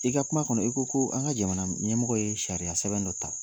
I ka kuma kɔnɔ i ko ko an ka jamana ɲɛmɔgɔ ye sariya sɛbɛn dɔ ta.